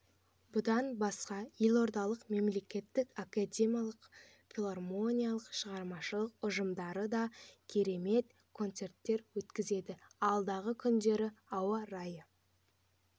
бұдан басқа елордалық мемлекеттік академиялық филармонияның шығармашылық ұжымдары да керемет концерттер өткізеді алдағы күндері ауа райы